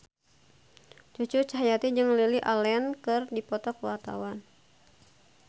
Cucu Cahyati jeung Lily Allen keur dipoto ku wartawan